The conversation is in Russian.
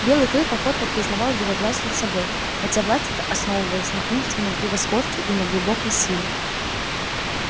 белый клык охотно признавал его власть над собой хотя власть эта основывалась на умственном превосходстве и на глубокой силе